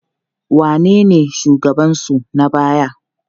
Wanene shugabansu na baya?